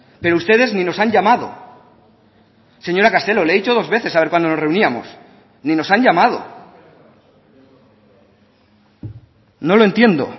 pero ustedes ni nos han llamado señora castelo le he dicho dos veces a ver cuándo nos reuníamos ni nos han llamado no lo entiendo